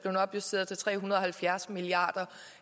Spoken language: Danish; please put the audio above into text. opjusteret til tre hundrede og halvfjerds milliard kr